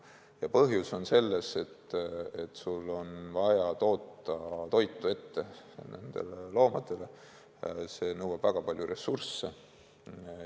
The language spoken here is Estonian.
Põhjus on selles, et sul on vaja toota toitu nendele loomadele ja see nõuab väga palju ressursse.